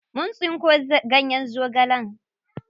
Mun tsinko ganyen zogalen.